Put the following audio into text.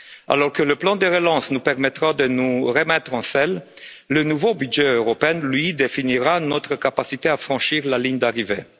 Alors que le plan de relance nous permettra de nous remettre en selle, le nouveau budget européen, lui, définira notre capacité à franchir la ligne d'arrivée.